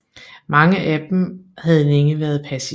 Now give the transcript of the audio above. Mange af dem havde længe været passive